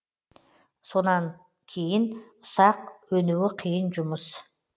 содан кейін ұсақ өнуі қиын жұмыс